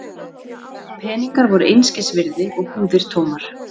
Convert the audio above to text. Peningar voru einskis virði og búðir tómar.